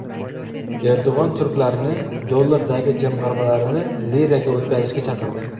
Erdo‘g‘on turklarni dollardagi jamg‘armalarini liraga o‘tkazishga chaqirdi.